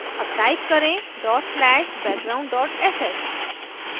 अब type करें dot slash background sh